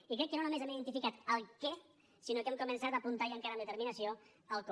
i crec que no només hem identificat el què sinó que hem començat a apuntar i a encarar amb determinació el com